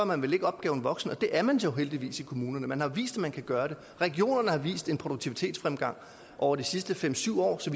man vel ikke opgaven voksen og det er man jo heldigvis i kommunerne man har vist at man kan gøre det regionerne har vist en produktivitetsfremgang over de sidste fem syv år så